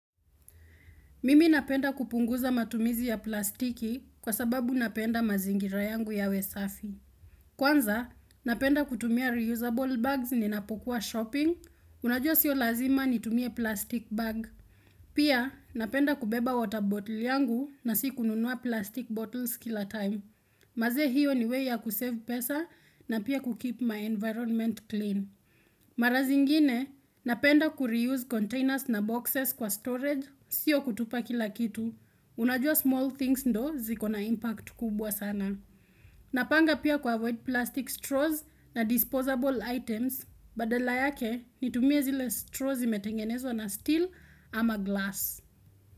Mimi napenda kupunguza matumizi ya plastiki kwa sababu napenda mazingira yangu yawe safi. Kwanza, napenda kutumia reusable bags ninapokuwa shopping. Unajua sio lazima nitumie plastic bag. Pia, napenda kubeba water bottle yangu na si kununua plastic bottles kila time. Manze hiyo ni way ya kusave pesa na pia kukeep my environment clean. Mara zingine napenda ku reuse containers na boxes kwa storage sio kutupa kila kitu Unajua small things ndo zikona impact kubwa sana Napanga pia kwa avoid plastic straws na disposable items Badala yake nitumie zile straws zimetengenezwa na steel ama glass.